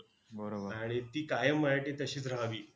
आणि ती कायम माझ्यासाठी तशीच राहावी.